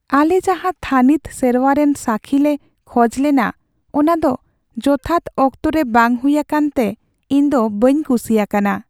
ᱟᱞᱮ ᱡᱟᱦᱟᱸ ᱛᱷᱟᱹᱱᱤᱛ ᱥᱮᱨᱣᱟ ᱨᱮᱱ ᱥᱟᱠᱷᱤ ᱞᱮ ᱠᱷᱚᱡ ᱞᱮᱱᱟ ᱚᱱᱟ ᱫᱚ ᱡᱚᱛᱷᱟᱛ ᱚᱠᱛᱚ ᱨᱮ ᱵᱟᱝ ᱦᱩᱭ ᱟᱠᱟᱱ ᱛᱮ ᱤᱧ ᱫᱚ ᱵᱟᱹᱧ ᱠᱩᱥᱤ ᱟᱠᱟᱱᱟ ᱾